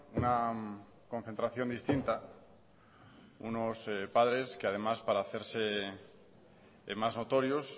una concentración distinta unos padres que además para hacerse más notorios